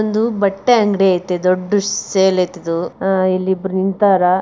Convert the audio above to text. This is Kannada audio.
ಒಂದು ಬಟ್ಟೆ ಅಂಗಡಿ ಇದೆ ದೊಡ್ಡದು ಸೇಲ್ ಐತೆ ಇಲ್ಲಿ ಇದ್ರು ನಿಂತರ.